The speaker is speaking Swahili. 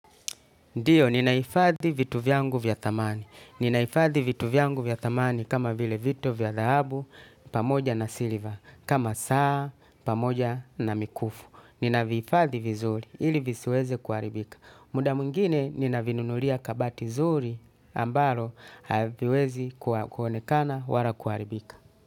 Ndiyo, ninaifadhi vitu vyangu vya dhamani. Ninaifadhi vitu vyangu vya dhamani kama vile vitu vya dahabu, pamoja na siliva, kama saa, pamoja na mikufu. Ninaifadhi vizuri, ili visiweze kuharibika. Muda mwingine, ninavinunulia kabati zuri, ambalo, haviwezi kuonekana, wala kuharibika.